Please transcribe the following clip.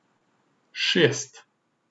Šest.